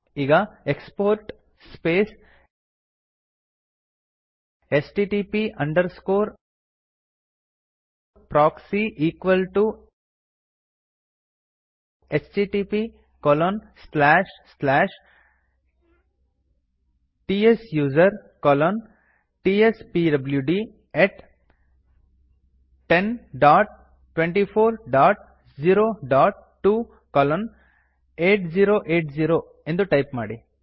ಈಗ export space HTTP underscore proxy equal to HTTP colon slash slash tsuser colon tspwd102402 colon 8080 ಎಂದು type ಮಾಡಿ